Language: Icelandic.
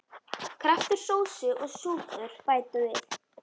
Kraftur sósu og súpur bæta.